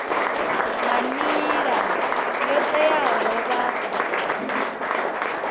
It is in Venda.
nga nila yo teaho vha